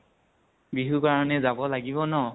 বিহু কাৰণে যাব লাগিব ন।